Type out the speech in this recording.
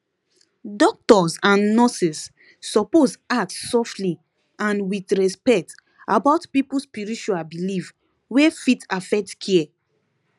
doctors and nurses suppose ask softly and with respect about people spiritual belief wey fit affect care